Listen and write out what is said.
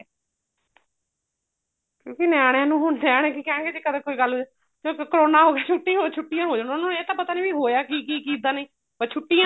ਕਿਉਂਕਿ ਨਿਆਣਿਆਂ ਨੂੰ ਹੁਣ ਸਿਆਣੇ ਕੀ ਕਹਿਣਗੇ ਕੀ ਕਦੇ ਕੋਈ ਗੱਲ ਹੋਈ ਕਰੋਨਾ ਹੋਜੂ ਛੁੱਟੀ ਹੋ ਛੁੱਟੀਆਂ ਹੋ ਜਾਣ ਉਹਨਾ ਨੂੰ ਇਹ ਤਾਂ ਪਤਾ ਨੀ ਵੀ ਹੋਇਆ ਕੀ ਕੀ ਕਿੱਦਾਂ ਨਹੀਂ ਬੱਸ ਛੁੱਟੀਆਂ